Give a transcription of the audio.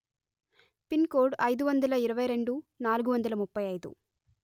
pin code అయిదు వందల ఇరవై రెండు నాలుగు వందల ముప్పై అయిదు